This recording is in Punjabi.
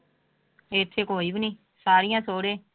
ਇੱਥੇ ਕੋਈ ਵੀ ਨੀ ਸਾਰੀਆਂ ਸਹੁਰੇ।